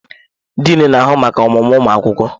Diin na-ahụ maka ọmụmụ ụmụ akwụkwọ.